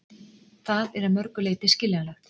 Það er að mörgu leyti skiljanlegt